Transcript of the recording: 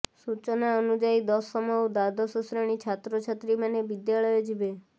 ସୂଚନା ଅନୁଯାୟୀ ଦଶମ ଓ ଦ୍ୱାଦଶ ଶ୍ରେଣୀ ଛାତ୍ରଛାତ୍ରୀ ମାନେ ବିଦ୍ୟାଳୟ ଯିବେ